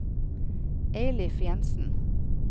Eilif Jensen